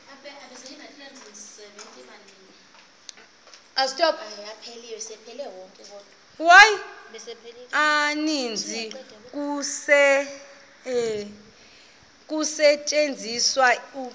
maninzi kusetyenziswa isiqu